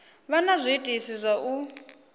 vha na zwiitisi zwa u